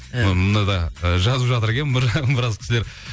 і мынада і жазып жатыр екен біраз кісілер